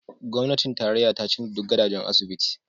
Gwamnatin tarayya ta canza duk gadon asibiti